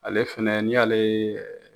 Ale fɛnɛ n'i y'ale ye